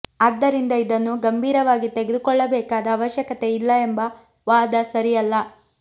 ಆದ್ದರಿಂದ ಇದನ್ನು ಗಂಭೀರವಾಗಿ ತೆಗೆದುಕೊಳ್ಳಬೇಕಾದ ಅವಶ್ಯಕತೆ ಇಲ್ಲ ಎಂಬ ವಾದ ಸರಿಯಲ್ಲ